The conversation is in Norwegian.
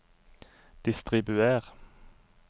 distribuer